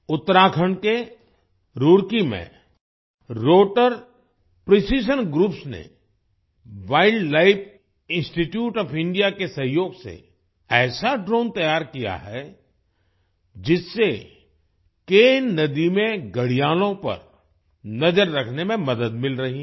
उत्तराखंड के रूड़की में rotor precision groups ने वाइल्डलाइफ इंस्टीट्यूट ओएफ इंडिया के सहयोग से ऐसा ड्रोन तैयार किया है जिससे केन नदी में घड़ियालों पर नजर रखने में मदद मिल रही है